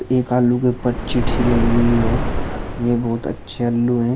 एक आलू के उपर चिट्ठी लगी हुई है। यह बहोत अच्छे आलू है।